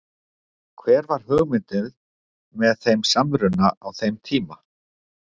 Hver var hugmyndin með þeim samruna á þeim tíma?